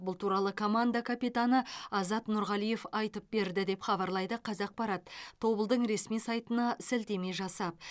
бұл туралы команда капитаны азат нұрғалиев айтып берді деп хабарлайды қазақпарат тобылдың ресми сайтына сілтеме жасап